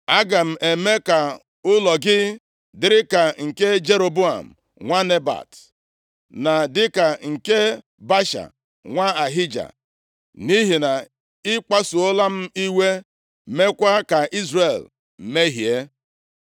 Aga m eme ka ụlọ gị dịrị ka nke Jeroboam nwa Nebat, na dịka nke Baasha nwa Ahija, nʼihi na ị kpasuola m iwe, meekwa ka Izrel mehie.’